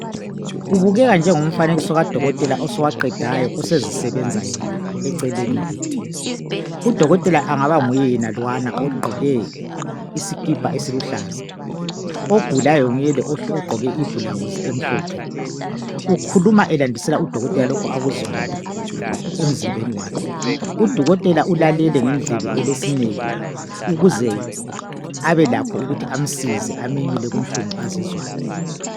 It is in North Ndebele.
kubukeka njengomfanekiso kadokotela osowaqedayo osezisebenza eceleni le udokotela engaba nguye yenalwana ogqoke isikipa esiluhlaza ogulayo nguye yanalo ogqoke iblawuzi emhlophe ukhuluma elandisela u dokotela lokhu akuzwayo emzimbeni wakhe u dokotela ulalele ngendlebe elesineke ukuze abe lakho amsize amenyule kunhlungu azizwayo